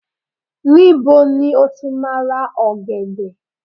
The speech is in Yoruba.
níbo ni o ti ma ra ògèdè